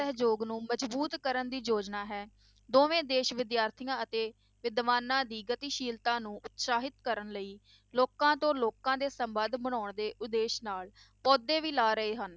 ਸਹਿਯੋਗ ਨੂੰ ਮਜ਼ਬੂਤ ਕਰਨ ਦੀ ਯੋਜਨਾ ਹੈ, ਦੋਵੇਂ ਦੇਸ ਵਿਦਿਆਰਥੀਆਂ ਅਤੇ ਵਿਦਵਾਨਾਂ ਦੀ ਗਤੀਸ਼ੀਲਤਾ ਨੂੰ ਉਤਸਾਹਿਤ ਕਰਨ ਲਈ ਲੋਕਾਂ ਤੋਂ ਲੋਕਾਂ ਦੇ ਸੰਬੰਧ ਬਣਾਉਣ ਦੇ ਉਦੇਸ਼ ਨਾਲ ਪੌਦੇ ਵੀ ਲਾ ਰਹੇ ਹਨ।